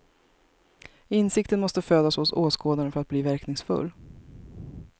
Insikten måste födas hos åskådaren för att bli verkningsfull.